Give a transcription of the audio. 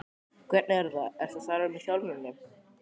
Hvernig er það, ertu að starfa eitthvað með þjálfuninni?